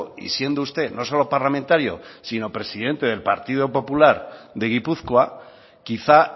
y siendo usted no solo parlamentario sino presidente del partido popular de gipuzkoa quizá